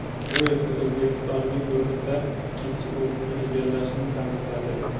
Bu esa O‘zbekistonning guruhda ikkinchi o‘rinni egallashini ta’minladi.